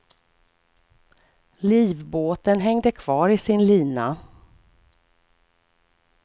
Livbåten hängde kvar i sin lina.